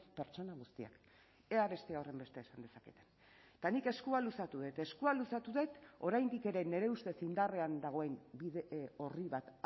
pertsona guztiak ea beste horrenbeste esan dezaketen eta nik eskua luzatu dut eskua luzatu dut oraindik ere nire ustez indarrean dagoen bide orri bat